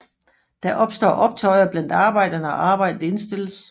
Der opstår optøjer blandt arbejderne og arbejdet indstilles